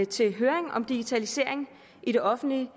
til høring om digitalisering i det offentlige